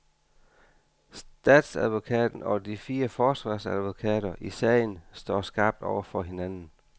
Statsadvokaten og de fire forsvarsadvokater i sagen står skarpt over for hinanden.